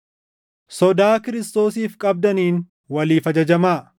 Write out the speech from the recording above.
Sodaa Kiristoosiif qabdaniin waliif ajajamaa.